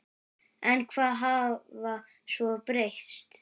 En hvað hafði svo breyst?